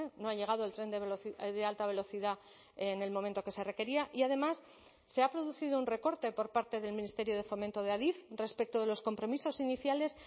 no ha llegado el tren de alta velocidad en el momento que se requería y además se ha producido un recorte por parte del ministerio de fomento de adif respecto de los compromisos iniciales